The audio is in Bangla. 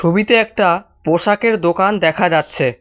ছবিতে একটা পোশাকের দোকান দেখা যাচ্ছে।